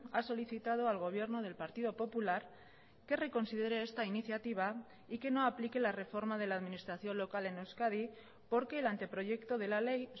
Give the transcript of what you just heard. ha solicitado al gobierno del partido popular que reconsidere esta iniciativa y que no aplique la reforma de la administración local en euskadi porque el anteproyecto de la ley